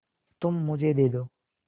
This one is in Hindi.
तुम मुझे दे दो